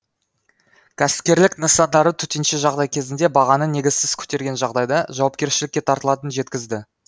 кәсіпкерлік нысандары төтенше жағдай кезінде бағаны негізсіз көтерген жағдайда жауапкершілікке тартылатынын жеткізді